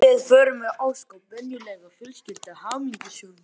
Við vorum ósköp venjuleg fjölskylda, hamingjusöm.